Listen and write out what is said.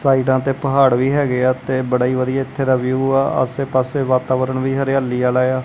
ਸਾਈਡਾਂ ਤੇ ਪਹਾੜ ਵੀ ਹੈਗੇ ਆ ਤੇ ਬੜਾ ਹੀ ਵਧੀਆ ਇੱਥੇ ਦਾ ਵਿਊ ਆ ਆਸੇ ਪਾੱਸੇ ਵਾਤਾਵਰਣ ਵੀ ਹਰਿਆਲੀ ਆਲ਼ਾ ਯਾ।